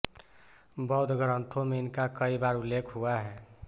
बौद्ध ग्रंथों में इनका कई बार उल्लेख हुआ है